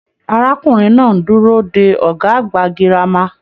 Arákùnrin náà n dúró dé ọgá àgbà gírámà.